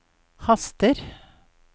haster